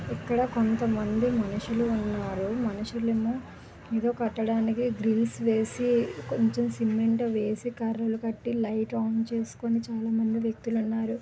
ఇక్కడ కొంతమంది మనుషులేమో ఏదో కట్టడానికి ప్లీజ్ కొంచెం గట్టిగా ఉంది